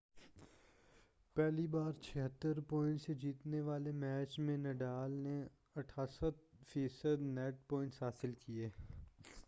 پہلی باری میں 76 پوائنٹس سے جیتنے والے میچ میں نڈال نے %88 نیٹ پوائنٹس حاصل کیے۔